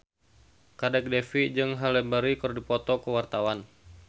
Kadek Devi jeung Halle Berry keur dipoto ku wartawan